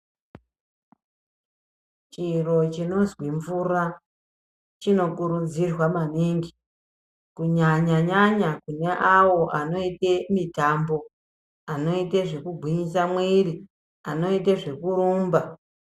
Chiro chinozwi mvura chinokurudzirwa maningi ,kunyanya-nyanya kune awo anoita mitambo; anoite zvekugwinyise mwiri; anoite zvekurumba.